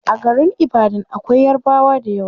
A garin ibadan akwai yarabwa dayawa